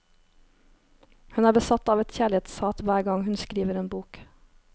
Hun er besatt av et kjærlighetshat hver gang hun skriver en bok.